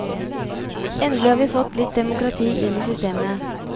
Endelig har vi fått litt demokrati inn i systemet!